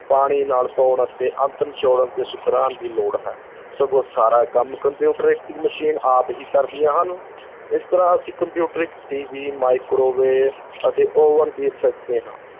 ਪਾਣੀ ਨਾਲ ਧੋਣ ਅਤੇ ਅੰਤ ਨਚੋੜਨ ਤੇ ਸੁਕਾਉਣ ਦੀ ਲੋੜ ਹੈ, ਸਗੋਂ ਸਾਰਾ ਕੰਮ ਕੰਪਿਊਟਰੀ ਮਸ਼ੀਨ ਆਪ ਹੀ ਕਰਦੀਆਂ ਹਨ ਇਸ ਤਰ੍ਹਾਂ ਅਸੀਂ ਕੰਪਿਊਟਰ TV microwave ਤੇ oven ਦੇਖ ਸਕਦੇ ਹਾਂ,